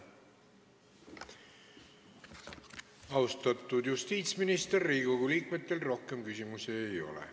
Austatud justiitsminister, Riigikogu liikmetel rohkem küsimusi ei ole.